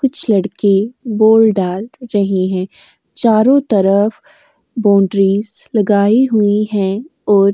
कुछ लड़के बोल डाल रहे हैं चारों तरफ बोन्ड्रीस लगाई हुई हैं ओर --